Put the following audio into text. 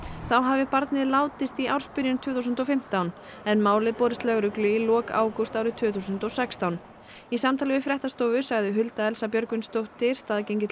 þá hafi barnið látist í ársbyrjun tvö þúsund og fimmtán en málið borist lögreglu í lok ágúst árið tvö þúsund og sextán í samtali við fréttastofu sagði Hulda Elsa Björgvinsdóttir staðgengill